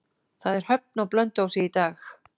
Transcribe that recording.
Það er höfn á Blönduósi í dag.